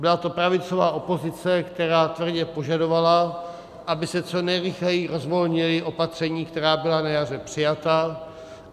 Byla to pravicová opozice, která tvrdě požadovala, aby se co nejrychleji rozvolnila opatření, která byla na jaře přijata.